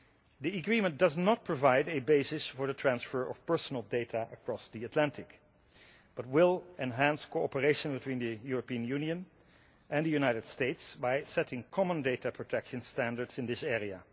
The agreement does not provide a basis for the transfer of personal data across the Atlantic but will enhance cooperation between the European Union and the United States by setting common data protection standards in this area.